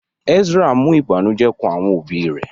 Ezra mú ìbànújẹ́ kán àwọn òbí rẹ̀